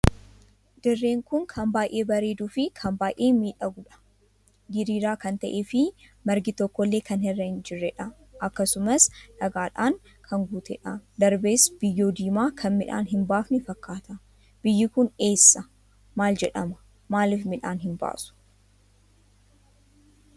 Dirreen kun kan baay'ee bareeduu fi kan baay'ee miidhaguudha. diriiraa kan tahee fi margi tokkollee kan irra hin jirreedha. akkasumas dhagaadhaan kan guuteedha darbees biyyoo diimaa kan midhaan hin baafnee fakkaata. biyyyi kun eessa maal jedhama maaliif midhaan hin baasu?